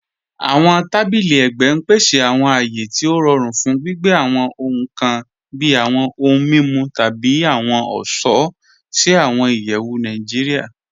Awọn tàbílì ègbẹ n pèsè awọn àyé tí o rọ̀rùn fún gbìgbẹ̀ awọn ọhun kàn bí awọn ọhun mimu tabi awọn ọṣọ̀ sí awọn ìyẹwu Nàìjíríà.